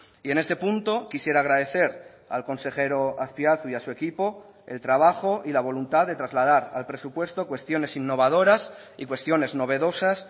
y en este punto quisiera agradecer al consejero azpiazu y a su equipo el trabajo y la voluntad de trasladar al presupuesto cuestiones innovadoras y cuestiones novedosas